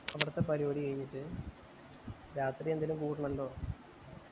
അവിടത്തെ പരിപാടി കൈഞ്ഞിട്ട് രാത്രി എങ്കിലും കൂടാണല്ലോ